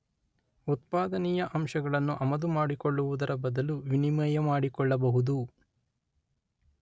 ಉತ್ಪಾದನೀಯ ಅಂಶಗಳನ್ನು ಆಮದುಮಾಡಿಕೊಳ್ಳುವುದರ ಬದಲು ವಿನಿಮಯ ಮಾಡಿಕೊಳ್ಳಬಹುದು